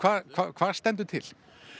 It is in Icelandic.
hvað stendur til